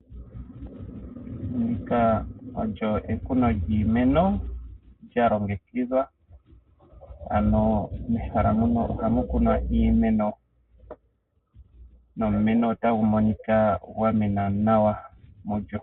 Ndika olyo ekuno lyiimeno lyalongekidhwa, ano mehala muno ohamu kunwa iimeno nomumeno otagu monika gwa mena nawa.